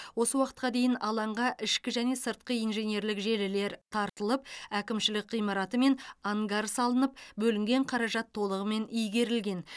осы уақытқа дейін алаңға ішкі және сыртқы инженерлік желілер тартылып әкімшілік ғимараты мен ангар салынып бөлінген қаражат толығымен игерілген